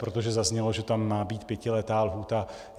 Protože zaznělo, že tam má být pětiletá lhůta.